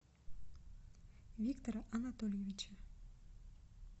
виктора анатольевича